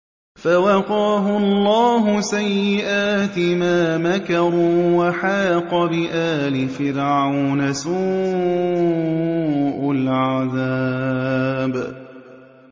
فَوَقَاهُ اللَّهُ سَيِّئَاتِ مَا مَكَرُوا ۖ وَحَاقَ بِآلِ فِرْعَوْنَ سُوءُ الْعَذَابِ